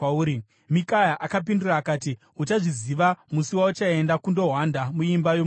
Mikaya akapindura akati, “Uchazviziva musi wauchaenda kundohwanda muimba yomukati.”